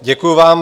Děkuji vám.